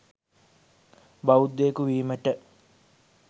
බෞද්ධයකු වීමට